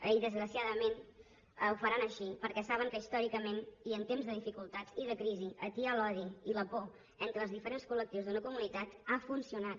i desgraciadament ho faran així perquè saben que històricament i en temps de dificultats i de crisi atiar l’odi i la por entre els diferents col·lectius d’una comunitat ha funcionat